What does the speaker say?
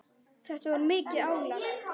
Þetta var mikið álag.